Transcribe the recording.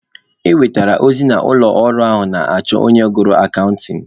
E nwetere ozi na ụlọ ọrụ ha na-achọ onye gụrụ akantịn.